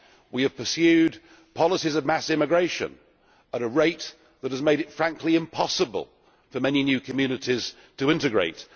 We have pursued policies of mass immigration at a rate that has made it frankly impossible for many new communities to integrate.